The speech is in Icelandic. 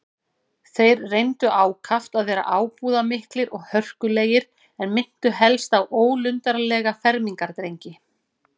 Þeir reyndu ákaft að vera ábúðarmiklir og hörkulegir, en minntu helst á ólundarlega fermingardrengi.